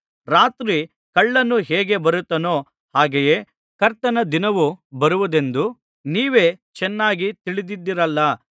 ರಾತ್ರಿ ಕಳ್ಳನು ಹೇಗೆ ಬರುತ್ತಾನೋ ಹಾಗೆಯೇ ಕರ್ತನ ದಿನವು ಬರುವುದೆಂದು ನೀವೇ ಚೆನ್ನಾಗಿ ತಿಳಿದಿದ್ದೀರಲ್ಲಾ